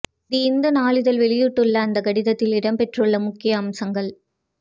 தி இந்து நாளிதழ் வெளியிட்டுள்ள அந்தக் கடிதத்தில் இடம் பெற்றுள்ள முக்கிய அம்சங்கள்